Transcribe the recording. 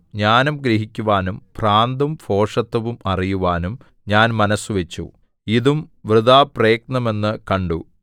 ജ്ഞാനം ഗ്രഹിക്കുവാനും ഭ്രാന്തും ഭോഷത്തവും അറിയുവാനും ഞാൻ മനസ്സുവച്ചു ഇതും വൃഥാപ്രയത്നമെന്നു കണ്ടു